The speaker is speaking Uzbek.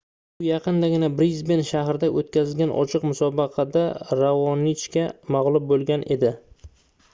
u yaqindagina brisben shahrida oʻtkazilgan ochiq musobaqada raonichga magʻlub boʻlgan edi